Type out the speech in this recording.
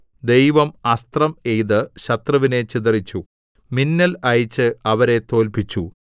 ദൈവം അസ്ത്രം എയ്ത് ശത്രുവിനെ ചിതറിച്ചു മിന്നൽ അയച്ച് അവരെ തോല്പിച്ചു